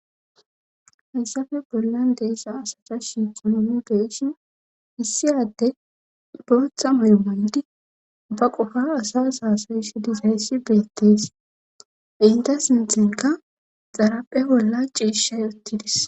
Hayssafe bollan deeza asata shiitxunomi beeshin hissiyadde booththa mayo maydi ba qofara asas haasoyssi disayssi beettees inta sinthinka xaraphe bolla ciishay uttidis